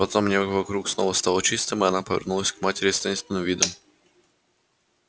потом небо вокруг снова стало чистым и она повернулась к матери с таинственным видом